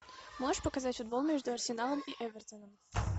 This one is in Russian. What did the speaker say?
можешь показать футбол между арсеналом и эвертоном